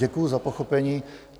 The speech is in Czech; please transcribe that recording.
Děkuji za pochopení.